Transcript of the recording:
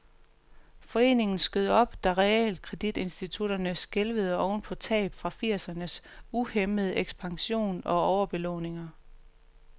Foreningen skød op, da realkreditinstitutterne skælvede oven på tab fra firsernes uhæmmede ekspansion og overbelåninger.